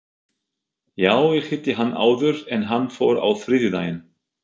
Já, ég hitti hann áður en hann fór á þriðjudaginn.